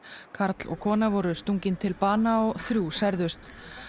karl og kona voru stungin til bana og þrjú særðust